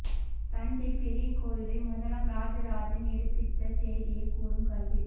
தஞ்சை பெரிய கோயிலை முதலாம் ராஜராஜன் எடுப்பித்தச் செய்தியைக் கூறும் கல்வெட்டு